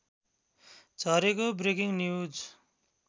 झरेको breaking news